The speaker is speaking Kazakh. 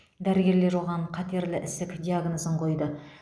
дәрігерлер оған қатерлі ісік диагнозын қойды